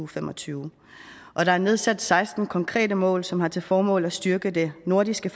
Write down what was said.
fem og tyve og der er nedsat seksten konkrete mål som har til formål at styrke det nordiske